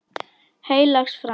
Heilags Frans.